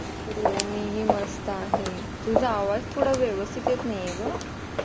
हो मीही मस्त आहे तुझा आवाज थोडा व्यवस्थित येत नाही आहे. ग